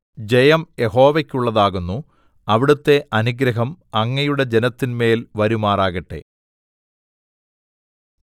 ജയം യഹോവക്കുള്ളതാകുന്നു അവിടുത്തെ അനുഗ്രഹം അങ്ങയുടെ ജനത്തിന്മേൽ വരുമാറാകട്ടെ സേലാ